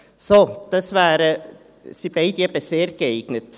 Beide sind sehr geeignet.